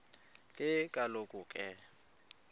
ke kaloku ke